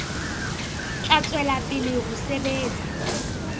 tla tswela pele ho sebetsa